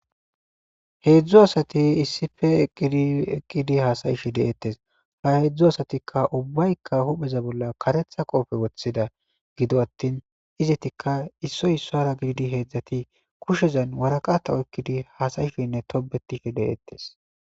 heedzdzu asati issife eqqidi eqqidi hasayishe deeettes ha heedzdzu asatikka ubbaykka hupheza bolla karetha qoofe woththida gido attin izetikka issoy issoara gididi heedzdzati kushezan waraqata oykkidi haasayifenne tobetife deettes